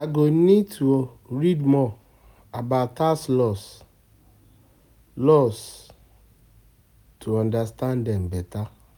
I go need to read more about tax laws, laws, to understand them better